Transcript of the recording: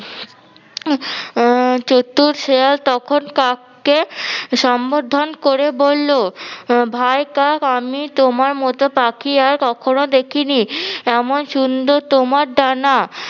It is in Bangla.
আহ চতুর শেয়াল তখন কাককে সম্বোধন করে বললো ভাই কাক আমি তোমার মতো পাখি আর কখনো দেখি নি, এমন সুন্দর তোমার ডানা!